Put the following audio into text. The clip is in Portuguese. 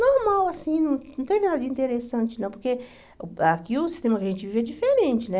Normal, assim, não não teve nada de interessante, não, porque aqui o sistema que a gente vive é diferente, né?